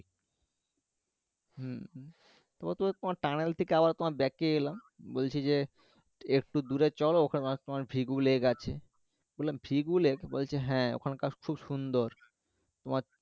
ওতো তোমার tunnel থেকে আবার Back এ এলাম বলছি যে একটু দূরে চলো ওখানে তোমার vigor lake আছে বললাম vigor lake বলছে হ্যাঁ ওখানকার খুব সুন্দর তোমার